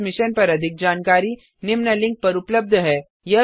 इस मिशन पर अधिक जानकारी निम्न लिंक पर उपलब्ध है